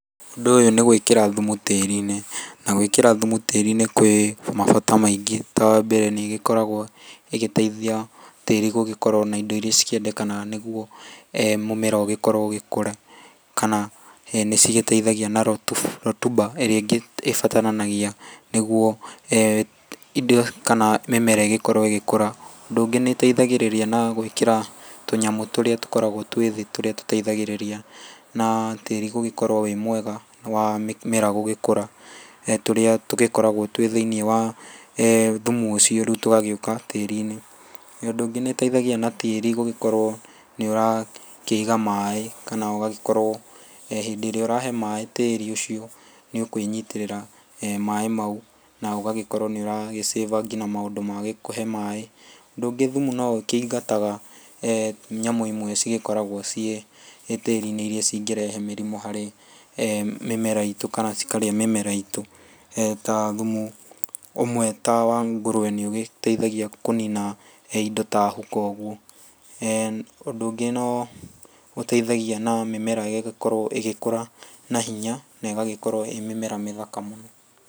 Ũndũ ũyũ nĩ gwĩkĩra thumu tĩĩri-inĩ na gwĩkĩra thumu tĩĩri-inĩ kwĩ mabata maingĩ. Ta wa mbere nĩ ĩgĩkoragwo ĩgĩteithia tĩĩri gũgĩkorwo na indo irĩa cikĩendekanaga nĩguo mũmera ũgĩkorwo ũgĩkũra. Kana nĩ cigĩteithagia na rotuba ĩrĩa ĩbataranagia nĩguo indo kana mĩmera ĩgĩkorwo ĩgĩkũra. Ũndũ ũngĩ nĩ ĩteithagĩrĩria gwĩkĩra tũnyamũ tũrĩa tũkoragwo twĩ thĩ tũrĩa tũteithagĩrĩrĩria na tĩĩri gũgĩkorwo wĩ mwega wa mĩmera gũgĩkũra. Tũrĩa tũgĩkoragwo twĩ thĩinĩ wa thumu ũcio tũgoka rĩu tũgagĩũka tĩĩri-inĩ. Ũndũ ũngĩ nĩ ũteithagĩrĩria na tĩĩri gũgĩkorwo nĩ ũrakĩiga maĩ kana ũgagĩkorwo hĩndĩ ĩrĩa ũrahe maĩ tĩĩri ũcio nĩ ũkwĩnyitĩrĩra maĩ mau na ũgakorwo nĩ ũragĩ save nginya maũndũ ma kũhe maĩ mau. Ũndũ ũngĩ thumu no ũkĩingataga nyamũ imwe cigĩkoragwo ciĩ tĩĩri-inĩ irĩa cingĩrehe mĩrimũ harĩ mĩmera itũ kana cikarĩa mĩmera itũ. Ta thumu ũmwe ta wa ngũrũwe nĩ ũgĩteithagia kũnina indo ta huko ũguo. Ũndũ ũngĩ no ũteithagia na mĩmera ĩgakorwo ĩgĩkũra na hinya na ĩgagĩkorwo ĩĩ mĩmera mĩthaka mũno.